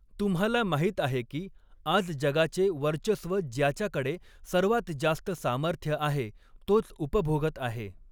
तुम्हाला माहीत आहे की, आज जगाचे वर्चस्व ज्याच्याकडे सर्वात जास्त सामर्थ्य आहे तोच उपभोगत आहे.